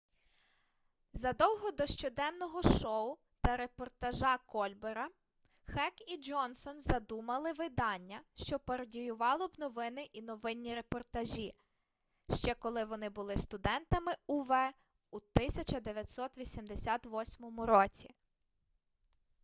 задовго до щоденного шоу та репортажа кольбера хек і джонсон задумали видання що пародіювало б новини і новинні репортажі ще коли вони були студентами ув у 1988 році